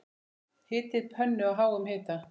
Hitið pönnu á háum hita.